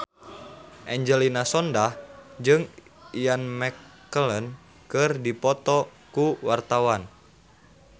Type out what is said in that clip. Angelina Sondakh jeung Ian McKellen keur dipoto ku wartawan